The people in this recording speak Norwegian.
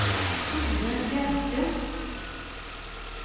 Thore Bjerke